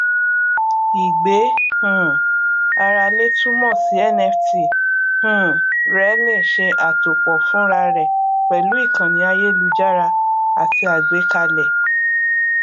ìgbé um ara lè túmọ sí nft um rẹ lè ṣe àtòpọ fúnra rẹ pẹlú ìkànnì ayélujára àti àgbékalẹ